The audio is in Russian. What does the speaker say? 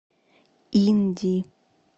инди